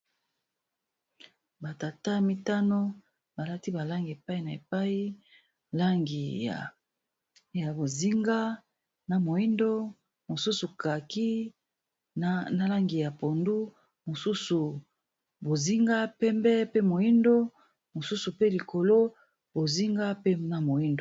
Ba tata mitano balati balangi epai na epai langi ya bozinga na moyindo mosusu kaki na langi ya pondu mosusu bozinga pembe pe moyindo mosusu pe likolo bozinga pe na moyindo .